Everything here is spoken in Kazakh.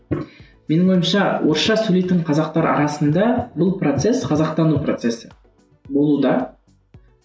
менің ойымша орысша сөйлейтін қазақтар арасында бұл процесс қазақтану процесі болуда